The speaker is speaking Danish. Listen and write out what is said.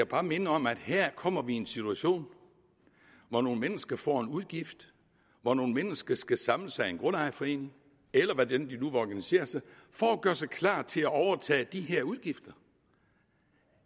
bare minde om at her kommer vi i en situation hvor nogle mennesker får en udgift hvor nogle mennesker skal samle sig i en grundejerforening eller hvordan de nu vil organisere sig for at gøre sig klar til at overtage de her udgifter